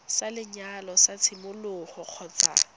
sa lenyalo sa tshimologo kgotsa